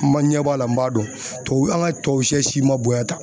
Ma ɲɛ b'a la n m'a dɔn tubabu an ka tubabusɛ si man bonya tan.